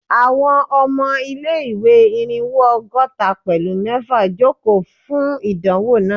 Àwọn ọmọ ilé-ìwé Irínwó ọgọ́ta pẹ̀lú mẹfa joko fun idanwo naa